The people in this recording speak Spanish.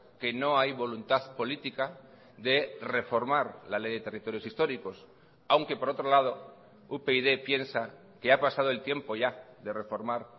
que no hay voluntad política de reformar la ley de territorios históricos aunque por otro lado upyd piensa que ha pasado el tiempo ya de reformar